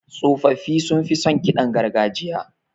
Tsofaffi sunfi son ƙidan gargajiya.